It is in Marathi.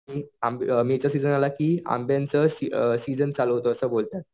आंब्यांचा सीजन चालू झाला की अभ्यंचा सीजन चालू झाला असं बोलतात.